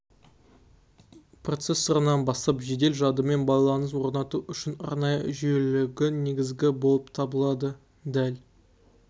процессорынан бастап жедел жадымен байланыс орнату үшін арнайы жүйелілігі негізгі болып табылады дәл